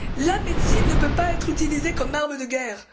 La médecine ne peut pas être utilisée comme arme de guerre.